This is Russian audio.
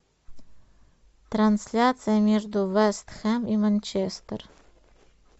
трансляция между вест хэм и манчестер